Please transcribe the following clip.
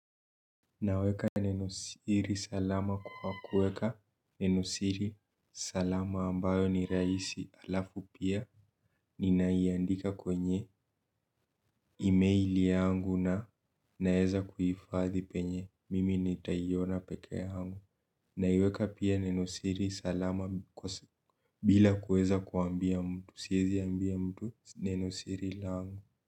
Naweka nenosiri salama kwa kuweka nenosiri salama ambayo ni rahisi alafu pia ninaiandika kwenye emaili yangu na naweza kuhifadhi penye mimi nitaiona pekee yangu. Naiweka pia nenosiri salama bila kuweza kuambia mtu. Siwezi ambia mtu nenosiri langu.